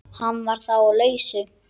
Hún var þá á lausu!